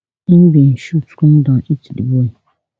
im bin shoot come down hit di boy